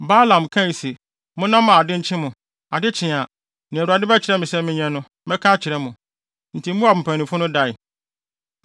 Balaam kae se, “Monna mma ade nkye mo. Ade kye a, nea Awurade bɛkyerɛ me sɛ menyɛ no, mɛka akyerɛ mo.” Enti Moab mpanyimfo no dae.